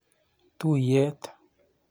Tuiyet.